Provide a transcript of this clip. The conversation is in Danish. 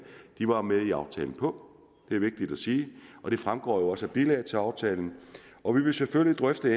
var med i aftalen på det er vigtigt at sige og det fremgår jo også af bilaget til aftalen og vi vil selvfølgelig drøfte